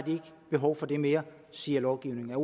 behov for det mere siger lovgivningen er